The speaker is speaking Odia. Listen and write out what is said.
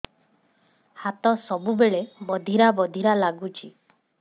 ହାତ ସବୁବେଳେ ବଧିରା ବଧିରା ଲାଗୁଚି